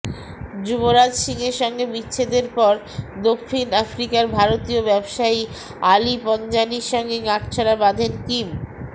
যুবরাজ সিংয়ের সঙ্গে বিচ্ছেদের পর দক্ষিণ আফ্রিকার ভারতীয় ব্যবসায়ী আলি পঞ্জানির সঙ্গে গাঁটচড়া বাঁধেন কিম